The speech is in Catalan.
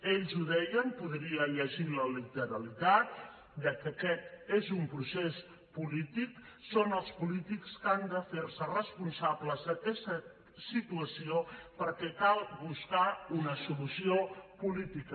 ells ho deien en podria llegir la literalitat que aquest és un procés polític que són els polítics els que han de fer se responsables d’aquesta situació perquè cal buscar hi una solució política